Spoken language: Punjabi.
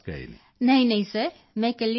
ਪ੍ਰੀਤੀ ਨਹੀਂਨਹੀਂ ਸਰ ਮੈਂ ਇਕੱਲੀ ਹੀ ਹੋਈ ਸੀ